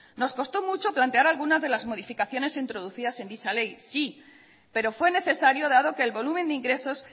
nos costó mucho plantear algunas de las modificaciones introducidas en dicha ley sí pero fue necesario dado que el volumen de ingresos